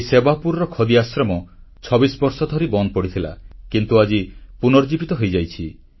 ସେହି ସେବାପୁରର ଖଦୀ ଆଶ୍ରମ 26 ବର୍ଷ ଧରି ବନ୍ଦ ପଡ଼ିଥିଲା କିନ୍ତୁ ଆଜି ପୁନର୍ଜୀବିତ ହୋଇଯାଇଛି